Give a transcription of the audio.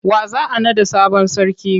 Wa za a naɗa sabon sarki?